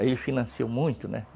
Aí ele financiou muito, né?